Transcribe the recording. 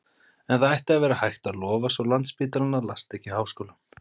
En það ætti að vera hægt, að lofa svo landsspítalann, að lasta ekki háskólann.